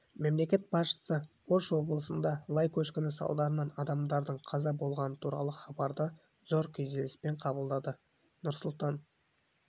мемлекет басшысы ош облысында лай көшкіні салдарынан адамдардың қаза болғаны туралы хабарды зор күйзеліспен қабылдады нұрсұлтан